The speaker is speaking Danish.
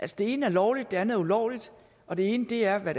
det ene er lovligt det andet er ulovligt og det ene er hvad